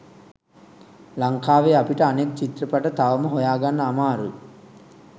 ලංකාවෙ අපිට අනෙක් චිත්‍රපට තවම හොයාගන්න අමාරුයි.